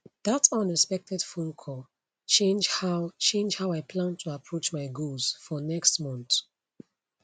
that unexpected phone call change how change how i plan to approach my goals for next month